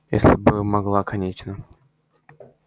если бы могла конечно